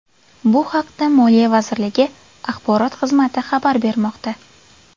Bu haqda Moliya vazirligi Axborot xizmati xabar bermoqda .